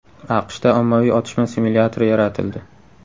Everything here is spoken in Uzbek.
AQShda ommaviy otishma simulyatori yaratildi.